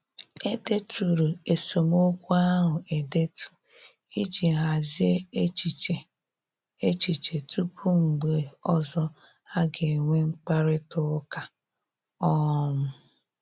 E deturu esemokwu ahụ edetu iji hazie echiche echiche tupu mgbe ọzọ a ga-enwe mkparịta ụka um